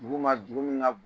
Dugu ma , dugu min ka bon